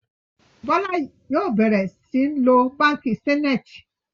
Bola yóò bẹrẹ sìn ló bánkì Zenith